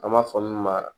An b'a fɔ min ma